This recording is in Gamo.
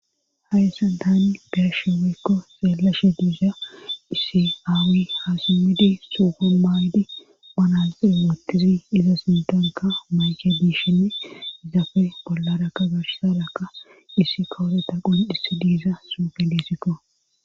Hayssa Tan be'ashe woykko xeelashe diiza issi aawi ha simmidi suuppen maawidi manaxirexen woottizi iza sintonka mayke biishinn zafe bollarakka gashsaraka issi kawoteta qul issi diiza suufe liisikko.